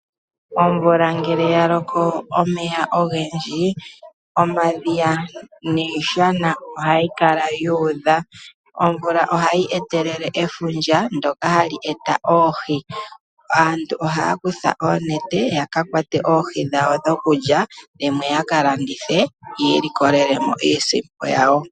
Omvula ngele yaloko omeya ogendji, omadhiya niishana ohayi kala yuudha. Omvula ohayi etelele efundja ndyoka hali eta oohi. Aantu ohaya kutha oonete yakakwate oohi dhawo dhokulya dhimwe ya ka landithe yi ilikolele mo iisimpo yawo.